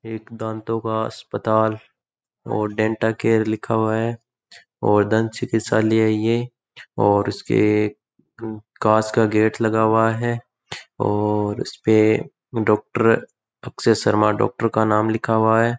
एक दातो का अस्पताल और डेंटल केयर लिखा है और दन्त चिकित्सालय है ये और इसके कांच का गेट लगा हुआ है और इस्पे डॉकटर शर्मा का नाम लिखा हुआ है।